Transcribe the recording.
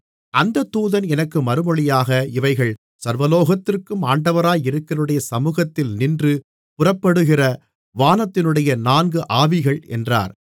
அந்தத் தூதன் எனக்கு மறுமொழியாக இவைகள் சர்வலோகத்திற்கும் ஆண்டவராயிருக்கிறவருடைய சமுகத்தில் நின்று புறப்படுகிற வானத்தினுடைய நான்கு ஆவிகள் என்றார்